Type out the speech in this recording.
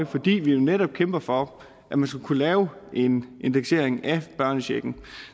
fordi vi netop kæmper for at man skal kunne lave en indeksering af børnecheken